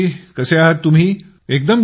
मयूरजी तुम्ही कसे आहात